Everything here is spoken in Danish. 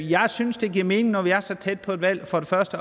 jeg synes det giver mening når vi er så tæt på et valg